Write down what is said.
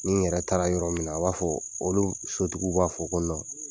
Ni yɛrɛ taara yɔrɔ min na, o b'a fɔ olu sotigiw b'a fɔ ko